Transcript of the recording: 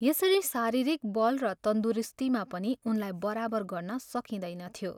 यसरी शारीरिक बल र तन्दुरुस्तीमा पनि उनलाई बराबर गर्न सकिँदैनथ्यो।